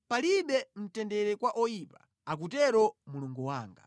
“Palibe mtendere kwa oyipa,” akutero Mulungu wanga.